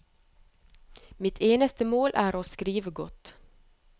Mitt eneste mål er å skrive godt.